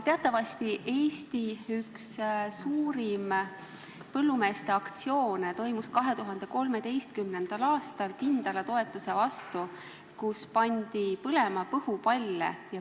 Teatavasti toimus Eesti üks suurimaid põllumeeste aktsioone 2013. aastal, see oli mõeldud pindalatoetuse vastu ja seal pandi põlema põhupalle.